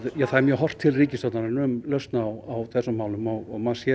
það er mjög horft til ríkisstjórnarinnar um lausn á þessum málum og maður sér